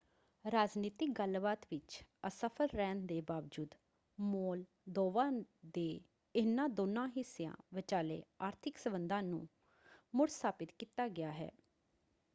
ਰਾਜਨੀਤਿਕ ਗੱਲਬਾਤ ਵਿੱਚ ਅਸਫਲ ਰਹਿਣ ਦੇ ਬਾਵਜੂਦ ਮੋਲਦੋਵਾ ਦੇ ਇਹਨਾਂ ਦੋਨਾਂ ਹਿੱਸਿਆਂ ਵਿਚਾਲੇ ਆਰਥਿਕ ਸੰਬੰਧਾਂ ਨੂੰ ਮੁੜ-ਸਥਾਪਿਤ ਕੀਤਾ ਗਿਆ ਹੈ।